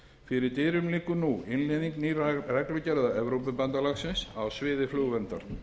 fyrir dyrum liggur nú innleiðing nýrra reglugerða evrópubandalagsins á sviði flugverndar